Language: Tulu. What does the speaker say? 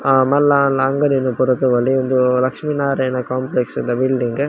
ಆ ಮಲ್ಲ ಆನ್ಲ ಅಂಗಡಿನ್ ಪೂರ ತೂವೊಂಡ್ರೆ ಉಂದು ಲಕ್ಷ್ಮಿ ನಾರಾಯಣ ಕೋಂಪ್ಲೆಕ್ಸ್ ದ ಬಿಲ್ಡಿಂಗ್ .